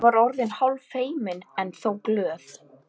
Ég var orðin hálffeimin, en þó glöð.